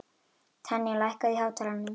Tanya, lækkaðu í hátalaranum.